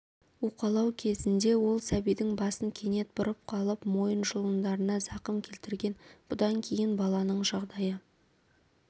уқалау кезінде ол сәбидің басын кенет бұрып қалып мойын жұлындарына зақым келтірген бұдан кейін баланың жағдайы